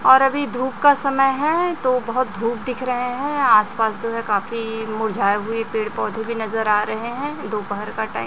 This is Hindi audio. और अभी धूप का समय हैं तो बहोत धूप दिख रहें हैं आसपास जो हैं काफी मुरझाए हुए पेड़ पौधे भीं नजर आ रहें हैं दोपहर का टाइम --